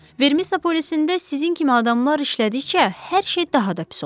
Vermisa polisində sizin kimi adamlar işlədikcə hər şey daha da pis olacaq.